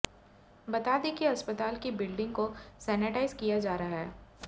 बता दें कि अस्पताल की बिल्डिंग को सेनेटाईज किया जा रहा है